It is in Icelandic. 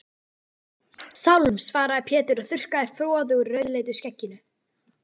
Sálm, svaraði Pétur og þurrkaði froðu úr rauðleitu skegginu.